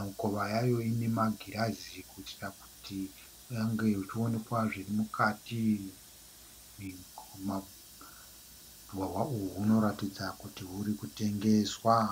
Mikova yayo ine magirazi kuitira kuti ange achionekwa zviri mukati, hwahwa uhu hunoratidza kuti huri kutengeswa